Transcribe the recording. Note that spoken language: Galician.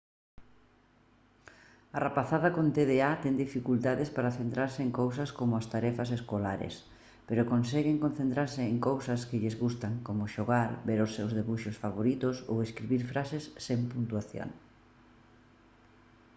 a rapazada con tda ten dificultades para centrarse en cousas como as tarefas escolares pero conseguen concentrarse en cousas que lles gustan como xogar ver os seus debuxos favoritos ou escribir frases sen puntuación